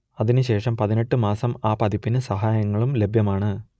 അതിനു ശേഷം പതിനെട്ട് മാസം ആ പതിപ്പിന് സഹായങ്ങളും ലഭ്യമാണ്